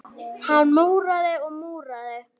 Hann múraði og múraði.